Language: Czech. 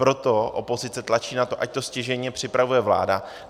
Proto opozice tlačí na to, ať to stěžejně připravuje vláda.